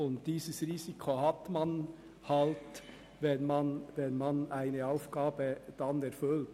Dieses Risiko hat man halt, wenn man eine Aufgabe erfüllt.